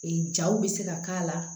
Ee jaw bɛ se ka k'a la